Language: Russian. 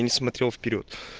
и не смотрел вперёд